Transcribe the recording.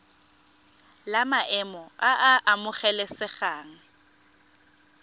la maemo a a amogelesegang